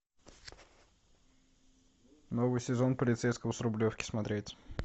новый сезон полицейского с рублевки смотреть